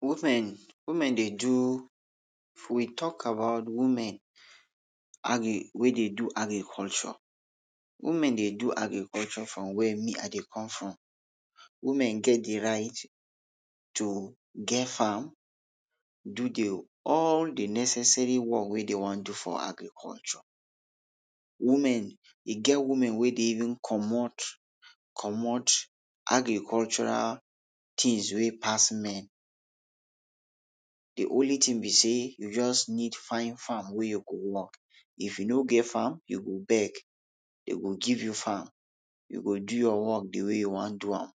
Women, women dey do, if we talk about women agri, wey dey do agriculture, women dey do agriculture from wey me ah dey come from. Women get dey right to get farm, do de, all de necessary work wey dey wan do for agriculture. Women, e get women wey de even comot, comot agricultural tins wey pass men. De only tin be sey you just need find farm wey you go work. If you no get farm you go beg, den go give you farm, you go do your work de way you wan do am.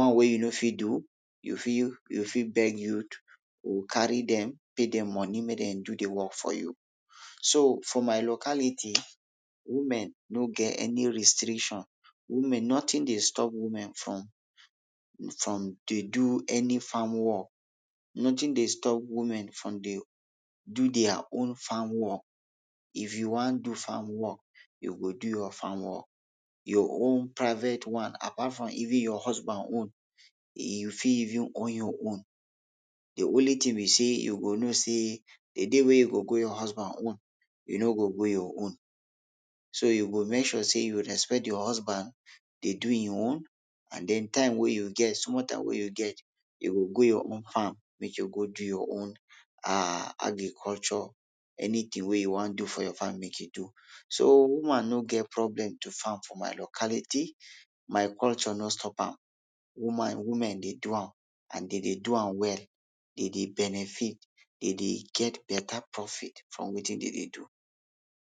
One wey you no fit do, you fit, you fit beg youth you carry dem, pay dem money make dem do de work for you. So, for my locality, women no get any restriction, women, notin dey stop women from, from dey do any farm work, notin dey stop women from dey do dia own farm work. If you want do farm work, you go do your farm work, your own private one apart from even your husband own, you fit even own your own. De only tin be sey you go know sey, de day wey you go go your husband own, you no go go your own. So you go make sure sey you respect your husband dey do e own and den time wey you get, small time wey you get, you go go your own farm make you go do your own um agriculture, anytin wey you wan do for your farm make you do. So woman no get problem to farm for my locality, my culture no stop am, woman, women dey do am, and dey dey do am well, dey dey benefit, dey dey get beta profit from wetin dey dey do.